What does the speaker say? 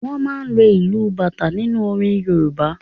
Wọ́n máa ń lo ìlù bata nínú orin Yorùbá.